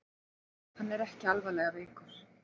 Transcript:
Hann er ekki alvarlega veikur